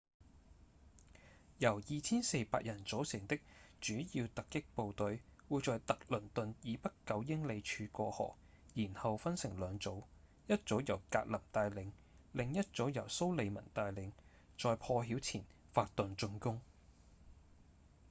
由 2,400 人組成的主要突擊部隊會在特倫頓以北九英里處過河然後分成兩組一組由格林帶領另一組由蘇利文帶領在破曉前發動進攻